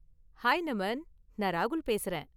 Hi Naman, நான் ராகுல் பேசுறேன்.